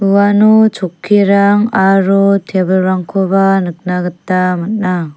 uano chokkirang aro tebilrangkoba nikna gita man·a.